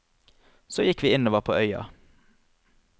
Så gikk vi innover på øya.